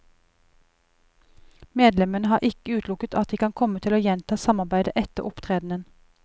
Medlemmene har ikke utelukket at de kan komme til å gjenta samarbeidet etter opptredenen.